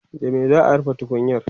da me za'a rufe tukunyar?